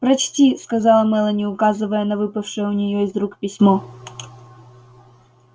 прочти сказала мелани указывая на выпавшее у нее из рук письмо